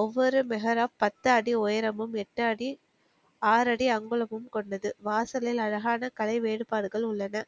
ஒவ்வொரு மேகர பத்து அடி உயரமும் எட்டு அடி ஆறடி அங்குலமும் கொண்டது வாசலில் அழகான கலை வேறுபாடுகள் உள்ளன